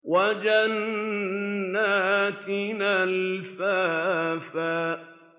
وَجَنَّاتٍ أَلْفَافًا